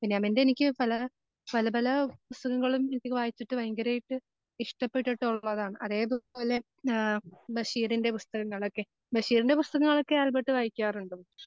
ബെന്യാമിൻ്റെ എനിക്ക് പല പല പല പുസ്തകങ്ങളും എനിക്ക് വായിച്ചിട്ട് ഭയങ്കര ആയിട്ട് ഇഷ്ടപ്പെട്ടിട്ടുള്ളതാണ്. അതേപോലെ ഏഹ് ബഷീറിൻ്റെ പുസ്തകങ്ങളൊക്കെ. ബഷീറിൻ്റെ പുസ്തകങ്ങളൊക്കെ ആൽബർട്ട് വായിക്കാറുണ്ടോ?